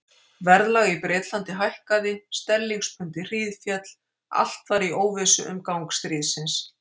Verðlag í Bretlandi hækkaði, sterlingspundið hríðféll, allt var í óvissu um gang stríðsins.